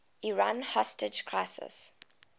iran hostage crisis